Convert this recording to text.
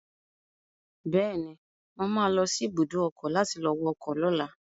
Bẹ́ẹ̀ni, mo ma lọ sí ibùdó ọkọ̀ láti lọ wọ ọkọ̀ lọ́la